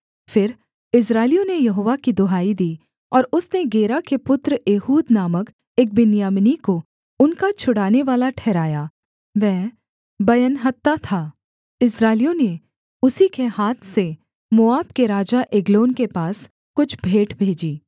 फिर इस्राएलियों ने यहोवा की दुहाई दी और उसने गेरा के पुत्र एहूद नामक एक बिन्यामीनी को उनका छुड़ानेवाला ठहराया वह बयंहत्था था इस्राएलियों ने उसी के हाथ से मोआब के राजा एग्लोन के पास कुछ भेंट भेजी